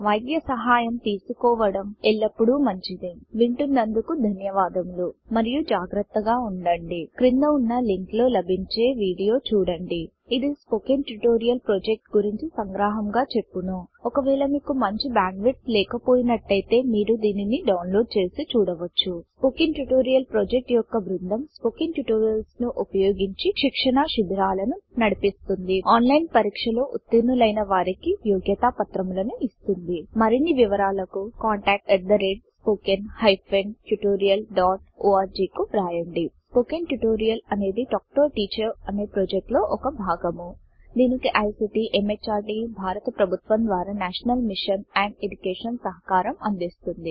వైద్య సహాయం తీసుకోవడం ఎల్లప్పుడూ మంచిది వింటున్నందుకు ధన్యవాదములు మరియు జాగ్రత్తగా వుండండి క్రింద వున్నా లింక్ లో లభించే వీడియో చుడండి ఇది స్పోకెన్ ట్యుటోరియల్ ప్రాజెక్ట్ గురించి సంగ్రహముగాచెప్పును ఒక వేల మీకు మంచి బ్యాండ్విడ్త్ లేకపోయినట్టయితే మీరు దీనిని డౌన్లోడ్ చేసి చూడవచ్చు స్పోకెన్ ట్యుటోరియల్ ప్రాజెక్ట్ యొక్క బృందం స్పోకెన్ ట్యుటోరియల్స్ ను ఉపయోగించి శిక్షణ శిభిరాలను నడిపిస్తుంది ఆన్లైన్ పరిక్ష లో ఉత్తీర్ణు లైన వారికీ యోగ్యతాపత్రము లను ఇస్తుంది మరిన్ని వివరాలకు contactspoken tutorialorg కు వ్రాయండి స్పోకెన్ ట్యుటోరియల్ అనేది టాక్ టు ఏ టీచర్ అనే ప్రాజెక్ట్ లో ఒక భాగము దీనికి ఐసీటీ ఎంహార్డీ భారత ప్రభుత్వము ద్వారా నేషనల్ మిషన్ అండ్ ఎడ్యుకేషన్ సహకారం అందిస్తోంది